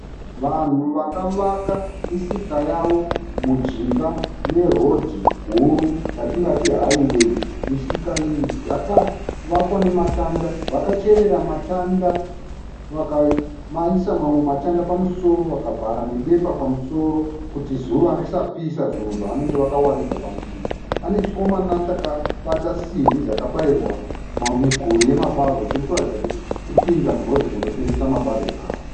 Vanhu vakavaka misika yavo mujinga merodhi huru yatingati hayiweyi. Misika iyi yakavakwa nematanda. Vakacherera matanda vakamaiswa mamwe matanda pamusoro vakavhara nebepa pamusoro kuti zuva risapisa zvinhu zvavanenge vakawaridza pamusika. Pane chikomana chakabata simbi dzakabayirwa miguri yemabarwe chiri kuratidza kuti chiri kuenda murodhi kunotengeswa mabarwe awa.